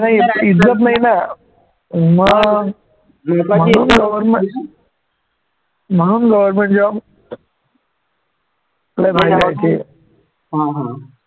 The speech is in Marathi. नाही इज्जत नाही ना मग म्हणून हा हा